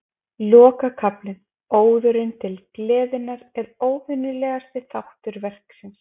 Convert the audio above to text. Lokakaflinn, Óðurinn til gleðinnar, er óvenjulegasti þáttur verksins.